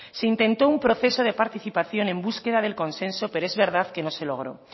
se intentó un proceso de participación en búsqueda del consenso pero es verdad que no se logró